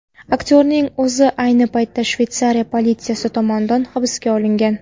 Aktyorning o‘zi ayni paytda Shveysariya politsiyasi tomonidan hibsga olingan.